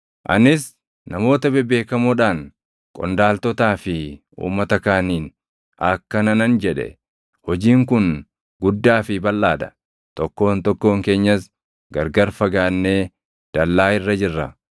Anis namoota bebeekamoodhaan, qondaaltotaa fi uummata kaaniin akkana nan jedhe; “Hojiin kun guddaa fi balʼaa dha; tokkoon tokkoon keenyas gargar fagaannee dallaa irra jirra.